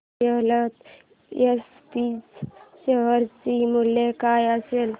Suryalata SPG share चे मूल्य काय असेल